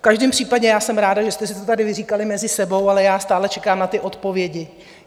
V každém případě já jsem ráda, že jste si to tady vyříkali mezi sebou, ale já stále čekám na ty odpovědi.